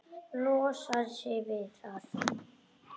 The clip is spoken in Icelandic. Losar sig við það.